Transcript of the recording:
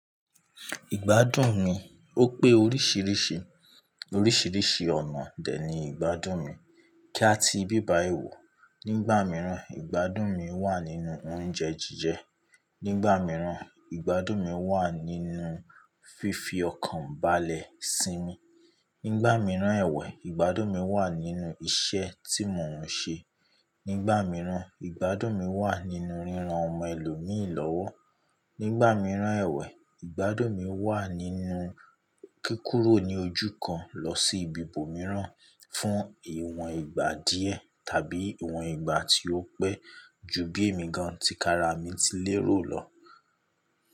Ìgbádùn mi, ó pé oríṣìíríṣìí, oríṣìíríṣìí ọ̀nà dè ní ìgbádùn mi, kí a tí ibíbayi wo. Nígbà mìíràn, ìgbádùn mi wà nínú oúnjẹ jíjẹ. Nígbà mìíràn, ìgbádùn mi wà nínú fífi ọkàn bàlẹ̀ sínmi. Nígbà mìíràn ẹ̀wẹ́, ìgbádùn mi wà nínú iṣẹ́ tí mò ń ṣe. Nígbà mìíràn, ìgbádùn mi wà nínú ríran ọmọ ẹlòmíì lọ́wọ́. Nígbà mìíràn ẹ̀wẹ́, ìgbádùn mi wà nínú kí kúrò ní ojú kan lọ sí ibi ibòmíràn fún ìwọ̀n ìgbà díẹ̀ tàbí ìwọ̀n ìgbà tí ó pẹ́ ju bí èmi gan ti kara mi ti lérò lọ.